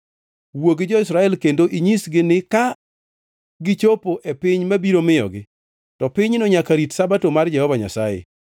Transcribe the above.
Wuo gi jo-Israel kendo inyisgi ni: Ka gichopo e piny mabiro miyogi, to pinyno nyaka rit Sabato mar Jehova Nyasaye.